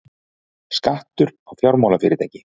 Skattur á fjármálafyrirtæki